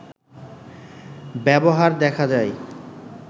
ব্যবহার দেখা যায়